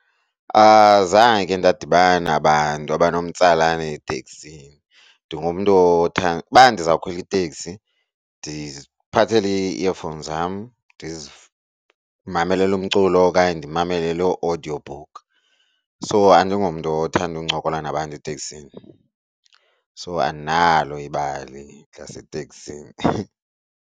Azange ke ndadibana abantu abanomtsalane eteksini. Ndingumntu uba ndizawukhwela iteksi ndiziphathele ii-earphones zam ndimamele umculo okanye ndimamele loo audiobook. So andingomntu othanda uncokola nabantu eteksini so andinalo ibali laseteksini.